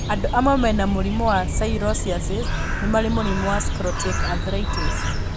Andũ amwe mena mũrimũ wa psoriasis nĩ marĩ mũrimũ wa psoriatic arthritis.